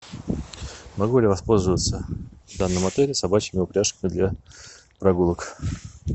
могу ли я воспользоваться в данном отеле собачьими упряжками для прогулок